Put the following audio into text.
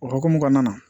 O hokumu kɔnɔna na